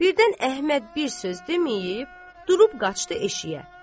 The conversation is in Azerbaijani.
Birdən Əhməd bir söz deməyib durub qaçdı eşiyə.